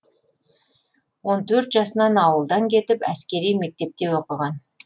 он төрт жасынан ауылдан кетіп әскери мектепте оқыған